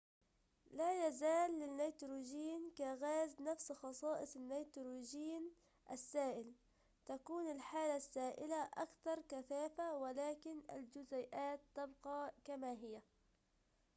لا يزال للنيتروجين كغاز نفس خصائص النيتروجين السائل تكون الحالة السائلة أكثر كثافة ولكن الجزيئات تبقى كما هي